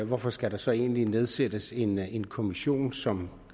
hvorfor skal der så egentlig nedsættes en en kommission som